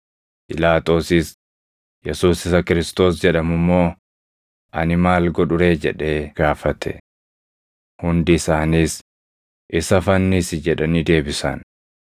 Phiilaaxoosis, “Yesuus isa Kiristoos jedhamu immoo ani maal godhu ree?” jedhee gaafate. Hundi isaaniis, “Isa fannisi!” jedhanii deebisan.